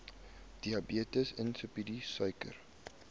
diabetes insipidus suiker